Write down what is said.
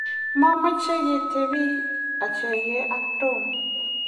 mameche ketebii achegei ak Tom